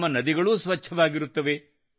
ನಮ್ಮ ನದಿಗಳು ಸ್ವಚ್ಛವಾಗಿರುತ್ತವೆ